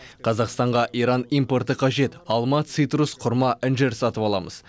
қазақстанға иран импорты қажет алма цитрус құрма інжір сатып аламыз